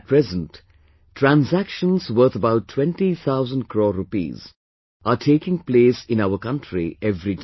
At present, transactions worth about 20 thousand crore rupees are taking place in our country every day